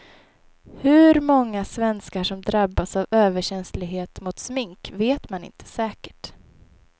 Hur många svenskar som drabbas av överkänslighet mot smink vet man inte säkert.